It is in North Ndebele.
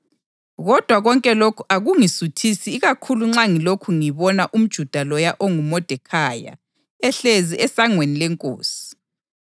Kodwa konke lokhu akungisuthisi ikakhulu nxa ngilokhu ngibona umJuda loya onguModekhayi ehlezi esangweni lenkosi.”